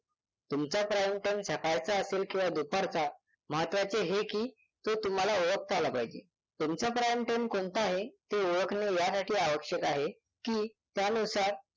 तुमचा prime time सकाळचा असेल किंवा दुपारचा महत्वाचे हे की तो तुम्हाला ओळखता आला पाहिजे. तुमचा prime time कोणता आहे ते ओळखणे यासाठी आवश्यक आहे की त्यानुसार